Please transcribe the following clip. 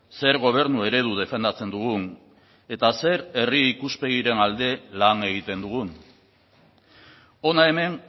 zer gobernu eredu defendatzen dugun eta zer herri ikuspegiren alde lan egiten dugun hona hemen